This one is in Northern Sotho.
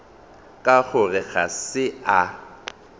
ka gore ga se a